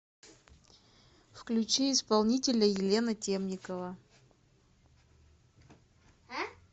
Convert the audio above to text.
включи исполнителя елена темникова